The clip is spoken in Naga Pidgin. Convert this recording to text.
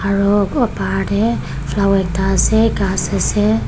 aro bahar tae flower ekta ase ghas ase.